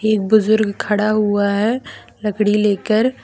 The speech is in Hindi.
एक बुजुर्ग खड़ा हुआ है लकड़ी लेकर।